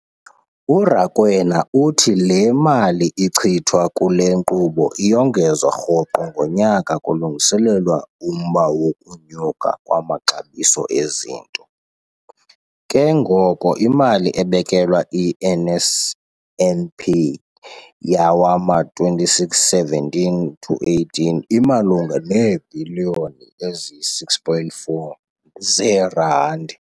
URakwena uthi le mali ichithwa kule nkqubo iyongezwa rhoqo ngonyaka kulungiselelwa umba wokunyuka kwamaxabiso ezinto, ke ngoko imali ebekelwe i-NSNP yawama-2617 to 18 imalunga neebhiliyoni eziyi-6.4 zeerandi.